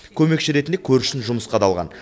көмекші ретінде көршісін жұмысқа да алған